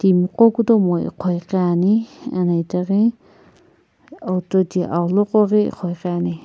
timigho kutomo igho ighi ane ana itaghi auto to aghulo koghi ighoighi ane.